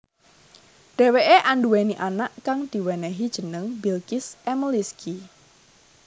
Dheweké anduwèni anak kang diwenehi jeneng Bilqis Emelisqi